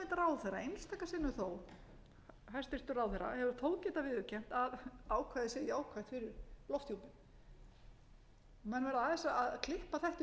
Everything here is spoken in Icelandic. ráðherra hefur þó getað viðurkennt að ákvæðið sé jákvætt fyrir lofthjúpinn menn verða aðeins að klippa þetta í sundur menn verða að sjá að